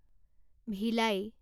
ভিলাই